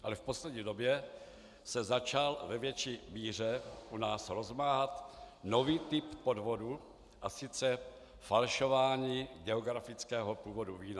Ale v poslední době se začal ve větší míře u nás rozmáhat nový typ podvodu, a sice falšování geografického původu vína.